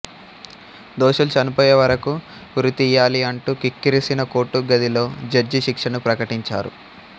దోషులు చనిపోయే వరకూ ఉరితీయాలి అంటూ కిక్కిరిసిన కోర్టు గదిలో జడ్జి శిక్షను ప్రకటించారు